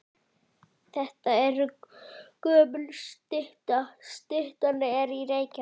Þetta er gömul stytta. Styttan er í Reykjavík.